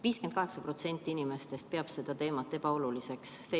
58% inimestest peab seda teemat ebaoluliseks.